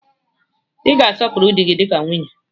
Ị ga na-asọpuru dị gi dịka nwunye!